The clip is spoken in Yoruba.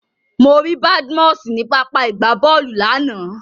Mo rí Badmus ní pápá ìgbábọ́ọ̀lù lánàá.